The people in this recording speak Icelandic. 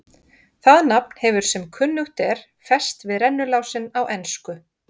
Það nafn hefur sem kunnugt er fest við rennilásinn á ensku.